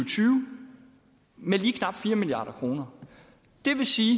med lige knap fire milliard kroner det vil sige